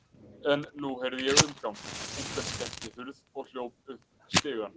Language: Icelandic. En nú heyrði ég umgang, einhver skellti hurð og hljóp upp stigann.